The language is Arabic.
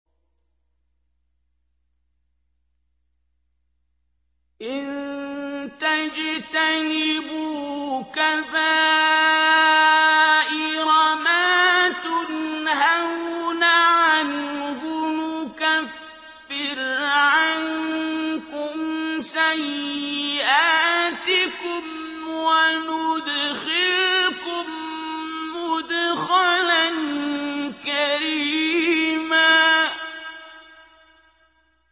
إِن تَجْتَنِبُوا كَبَائِرَ مَا تُنْهَوْنَ عَنْهُ نُكَفِّرْ عَنكُمْ سَيِّئَاتِكُمْ وَنُدْخِلْكُم مُّدْخَلًا كَرِيمًا